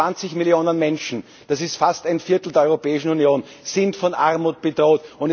120 Millionen Menschen das ist fast ein Viertel der Europäischen Union sind von Armut bedroht.